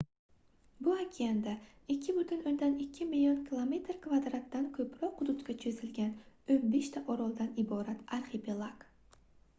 bu okeanda 2,2 million km2 dan koʻproq hududga choʻzilgan 15 ta oroldan iborat arxipelag